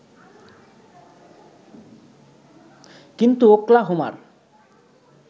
কিন্তু ওকলাহোমার